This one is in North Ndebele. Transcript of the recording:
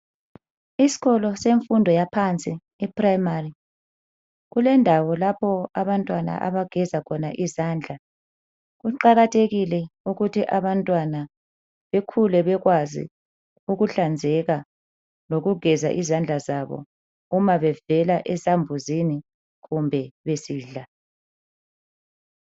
Isikolo semfundo yaphansi iprimary kulendawo lapho abantwana abageza khona izandla .Kuqakathekile ukuthi abantwana bekhule bekwazi ukuhlanzeka lokugeza izandla zabo uma bevela esambuzini loba besidla.